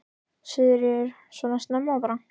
Sigríður: Svona snemma bara?